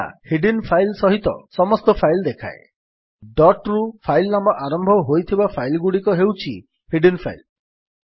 ଏହା hidden file ସହିତ ସମସ୍ତ ଫାଇଲ୍ ଦେଖାଏ ଡଟ୍ରୁ ଫାଇଲ୍ ନାମ ଆରମ୍ଭ ହେଉଥିବା ଫାଇଲ୍ ଗୁଡ଼ିକ ହେଉଛି ହିଡିନ୍ ଫାଇଲ୍